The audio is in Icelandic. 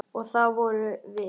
Og það vorum við.